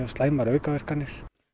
slæmar aukaverkanir